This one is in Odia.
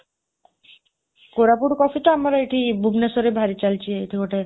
କୋରାପୁଟ କଫି ତ ଆମ ଏଠି ଭୁବନେଶ୍ୱରରେ ଭାରି ଚାଲିଛି, ଏଇଠି ଗୋଟେ